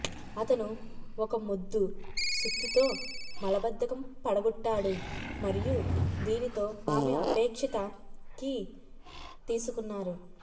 అతను ఒక మొద్దు సుత్తితో మలబద్ధకం పడగొట్టాడు మరియు దీనితో ఆమె అపేక్షిత కీ తీసుకున్నారు